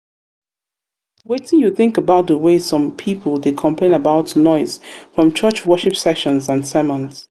wetin you think about di um way some people dey complain about noise from church um worship sessions and sermons?